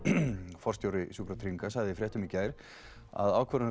forstjóri Sjúkratrygginga sagði í fréttum í gær að ákvörðun